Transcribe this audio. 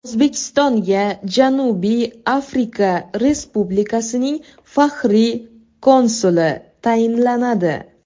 O‘zbekistonga Janubiy Afrika Respublikasining faxriy konsuli tayinlanadi.